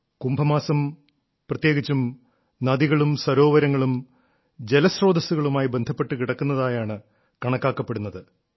കുംഭമാസം പ്രത്യേകിച്ചും നദികളും സരോവരങ്ങളും ജലസ്രോതസ്സുകളുമായി ബന്ധപ്പെട്ടു കിടക്കുന്നതായാണ് കണക്കാക്കപ്പെടുന്നത്